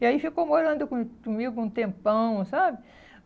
E aí ficou morando com comigo um tempão, sabe?